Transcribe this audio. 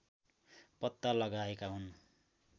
पत्ता लगाएका हुन्